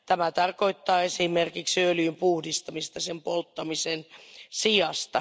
Tämä tarkoittaa esimerkiksi öljyn puhdistamista sen polttamisen sijasta.